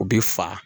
U bɛ fa